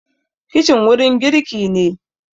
kicin wurin girki ne